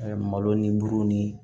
malo ni buru ni